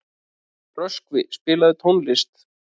Röskvi, spilaðu tónlist.